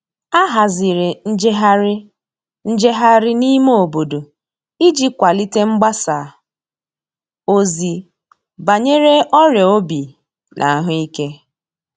A haziri njeghari njeghari n'ime obodo iji kwalite mgbasa ozi banyere ọria obi na ahuike